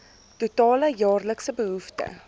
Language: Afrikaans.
totale jaarlikse behoefte